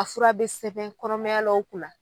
A fura bi sɛbɛn kɔnɔmayalaw kunna